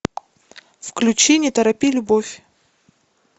включи не торопи любовь